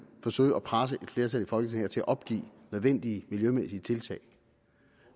forsøge at presse et flertal i folketinget til at opgive nødvendige miljømæssige tiltag